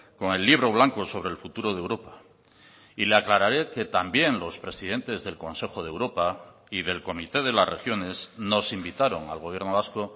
con el libro blanco sobre el futuro de europa y le aclararé que también los presidentes del consejo de europa y del comité de las regiones nos invitaron al gobierno vasco